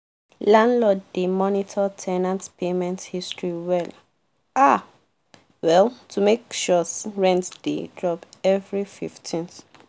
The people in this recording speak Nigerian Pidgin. landlord dey monitor ten ant payment history well um well to make sure rent dey drop every fifteenth